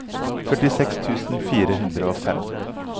førtiseks tusen fire hundre og fem